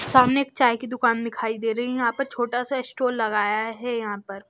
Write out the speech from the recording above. सामने एक चाय की दुकान दिखाई दे रही है यहां पर छोटा सा स्टोर लगाया है यहां पर--